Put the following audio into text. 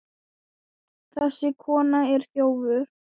Þessi kona er þjófur.